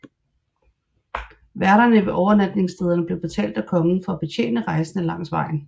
Værterne ved overnatningsstederne blev betalt af kongen for at betjene rejsende langs vejen